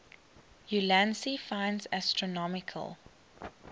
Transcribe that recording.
ulansey finds astronomical